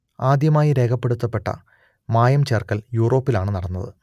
ആദ്യമായി രേഖപ്പെടുത്തപ്പെട്ട മായം ചേർക്കൽ യൂറോപ്പിലാണ് നടന്നത്